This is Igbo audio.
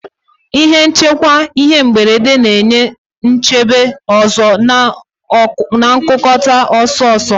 Ihe nchekwa ihe mberede na-enye nchebe ọzọ na nkukota ọsọ-ọsọ.